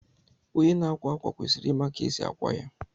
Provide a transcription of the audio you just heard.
Onye na-akwa ákwà kwesịrị ịma ka esi akwa ya